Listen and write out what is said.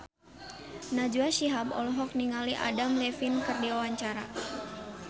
Najwa Shihab olohok ningali Adam Levine keur diwawancara